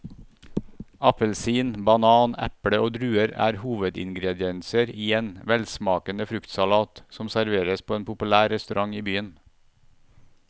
Appelsin, banan, eple og druer er hovedingredienser i en velsmakende fruktsalat som serveres på en populær restaurant i byen.